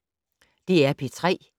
DR P3